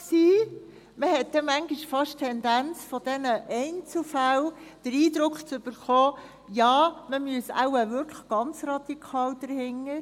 Man hat dann manchmal von diesen Einzelfällen in der Tendenz fast den Eindruck bekommen, ja, man müsse wohl wirklich ganz radikal dahinterstehen.